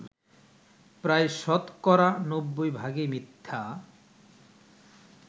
প্রায় শতকরা ৯০ ভাগই মিথ্যা